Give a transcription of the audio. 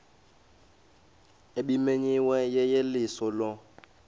ebimenyiwe yeyeliso lo